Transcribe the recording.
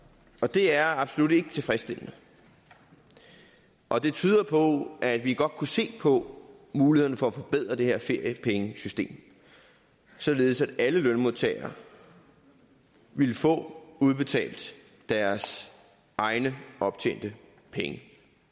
det er absolut ikke tilfredsstillende og det tyder på at vi godt kunne se på mulighederne for at forbedre det her feriepengesystem således at alle lønmodtagere ville få udbetalt deres egne optjente penge